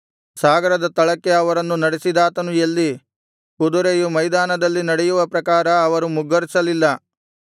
ಸಾಗರದ ತಳಕ್ಕೆ ಅವರನ್ನು ನಡೆಸಿದಾತನು ಎಲ್ಲಿ ಕುದುರೆಯು ಮೈದಾನದಲ್ಲಿ ನಡೆಯುವ ಪ್ರಕಾರ ಅವರು ಮುಗ್ಗರಿಸಲಿಲ್ಲ